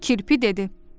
Kirpi dedi: